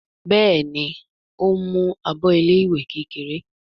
Béèni o ń mú àbọ ilé ìwé kékeré.